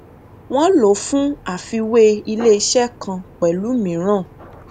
wọn lò fún àfiwé iléiṣẹ kan pẹlú mìíràn